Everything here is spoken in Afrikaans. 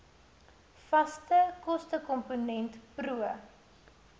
vaste kostekomponent pro